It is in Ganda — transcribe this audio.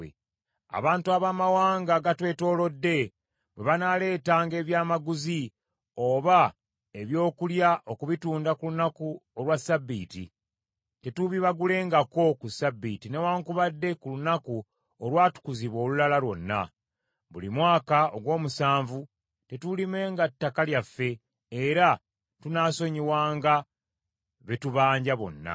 “Abantu abamawanga agatwetoolodde, bwe banaaleetanga ebyamaguzi oba ebyokulya okubitunda ku lunaku olwa ssabbiiti, tetuubibagulengako ku Ssabbiiti newaakubadde ku lunaku olwatukuzibwa olulala lwonna. Buli mwaka ogw’omusanvu tetuulimenga ttaka lyaffe, era tunaasonyiwanga be tubanja bonna.